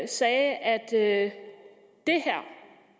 sagde at